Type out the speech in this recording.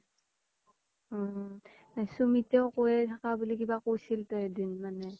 অ অ সুমিতেও কইয়ে থাকা বুলি কইছিল তো এদিন মানে